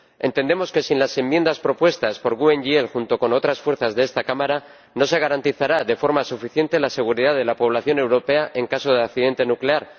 Entendemos que sin las enmiendas propuestas por el Grupo GUE NGL, junto con otras fuerzas de esta Cámara, no se garantizará de forma suficiente la seguridad de la población europea en caso de accidente nuclear.